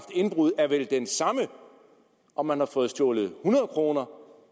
indbrud er vel den samme om man har fået stjålet hundrede kroner